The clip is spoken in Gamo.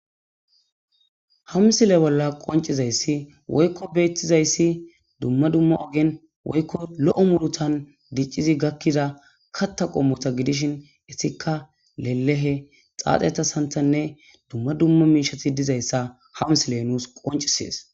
hamsile bolla qoncizayssi woykko beettizayssi dumma dumma ogen woykko lo7o murutan diccidi gakkida katta qommota gidishin etikka lelehe xaaxeta santanne dumma dumma miishati dizayssa hamsile nuus qoncisees